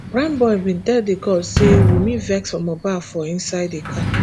prime boy bin tell di court say wunmi vex for mohbad for inside di car